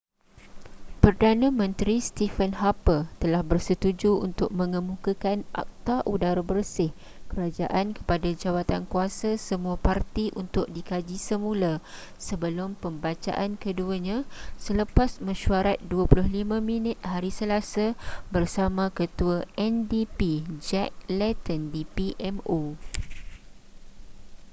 perdana menteri stephen harper telah bersetuju untuk mengemukakan akta udara bersih kerajaan kepada jawatankuasa semua parti untuk dikaji semula sebelum pembacaan keduanya selepas mesyuarat 25 minit hari selasa bersama ketua ndp jack layton di pmo